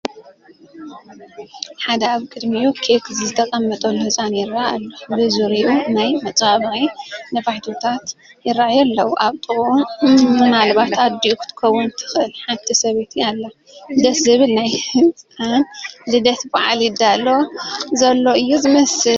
ሓደ ኣብ ቅድሚኡ ኬክ ዝተቐመጠሉ ህፃን ይርአ ኣሎ፡፡ ብዙርይኡ ናይ መፀባበቒ ነፋሒቶታት ይርአዩ ኣለዉ፡፡ ኣብ ጥቅኡ ምናልባት ኣዲኡ ክትከውን ትኽእል ሓንቲ ሰበይቲ ኣላ፡፡ ደስ ዝብል ናይ ህፃን ልደት በዓል ይዳሎ ዘሎ እዩ ዝመስል፡፡